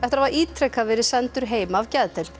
hafa ítrekað verið sendur heim af geðdeild